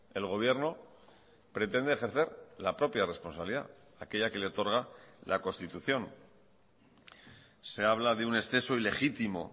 el gobierno pretende ejercer la propia responsabilidad aquella que le otorga la constitución se habla de un exceso ilegítimo